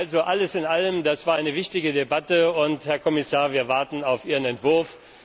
Also alles in allem Das war eine wichtige Debatte, und, Herr Kommissar, wir warten auf Ihren Entwurf.